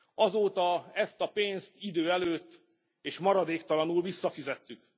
Azóta ezt a pénzt idő előtt, és maradéktalanul visszafizettük.